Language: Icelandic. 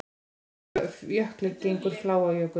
Úr hvaða jökli gengur Fláajökull?